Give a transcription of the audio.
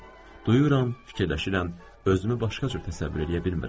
Duyuram, fikirləşirəm, özümü başqa cür təsəvvür eləyə bilmirəm.